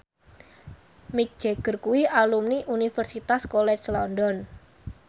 Mick Jagger kuwi alumni Universitas College London